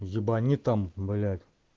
ебани там блять